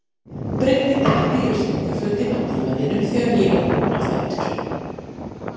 Breiddi teppi yfir sængurfötin á dívaninum þegar ég var kominn á fætur.